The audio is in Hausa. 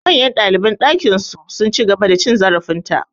Manyan ɗaliban ɗakin su, sun ci gaba da cin zarafin ta.